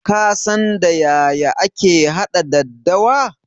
Ka san da yaya ake haɗa daddawa?